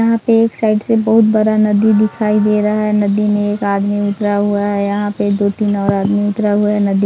यहाँ पर एक साइड से बहुत बड़ा नदी दिखाई दे रहा है नदी मे एक आदमी उतरा हुआ है यहां पे दो तीन और आदमी उतरा हुआ है।